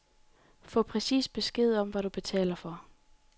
Få præcis besked om, hvad du betaler for.